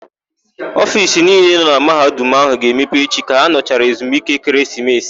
Ofiisi niile nọ na Mahadum áhụ̀ ga-emepe echi ka ha nọchara ezumike ekeresimesi.